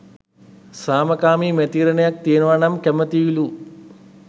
සාමකාමී මැතිවරණයක් තියෙනවා නම් කැමැතියිලු.